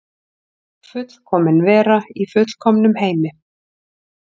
Fullkomin vera í fullkomnum heimi.